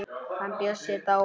Hann Bjössi er dáinn.